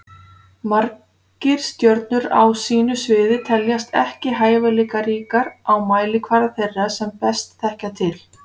Margir stjörnur á sínu sviði teljast ekki hæfileikaríkar á mælikvarða þeirra sem best þekkja til.